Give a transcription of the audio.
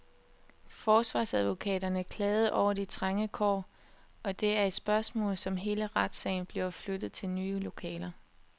Forsvarsadvokaterne klagede over de trænge kår, og det er et spørgsmål, om hele retssagen bliver flyttet til nye lokaler.